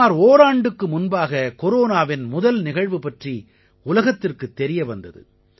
சுமார் ஓராண்டுக்கு முன்பாக கொரோனாவின் முதல் நிகழ்வு பற்றி உலகத்திற்குத் தெரிய வந்தது